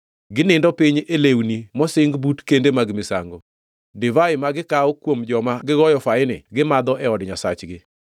Ginindo piny e lewni mosing but kende mag misango. Divai ma gikawo kuom joma gigoyo faini gimadho e od nyasachgi.